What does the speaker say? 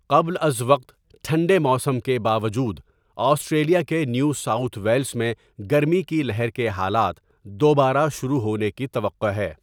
قبل ازوقت ٹھنڈے موسم کے باوجود، آسٹریلیا کے نیو ساوٴتھ ویلس میں گرمی کی لہر کے حالات دوبارہ شروع ہونے کی توقع ہے۔